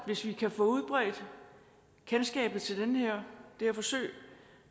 hvis vi kan få udbredt kendskabet til det her forsøg